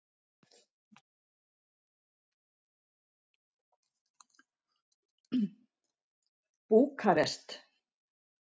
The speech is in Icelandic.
Búkarest